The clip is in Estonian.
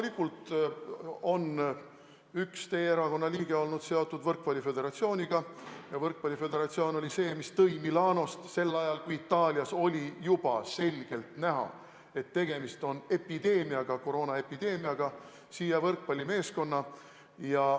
Loomulikult on üks teie erakonna liige seotud võrkpalliföderatsiooniga ja võrkpalliföderatsioon tõi Milanost sel ajal, kui Itaalias oli juba selgelt näha, et tegemist on koroonaepideemiaga, siia võrkpallimeeskonna.